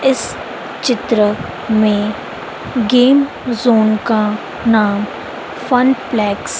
इस चित्र में गेम जोन का नाम फन प्लैक्स --